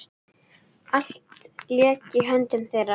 Allt lék í höndum þeirra.